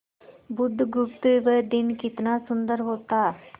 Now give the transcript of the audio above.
बुधगुप्त वह दिन कितना सुंदर होता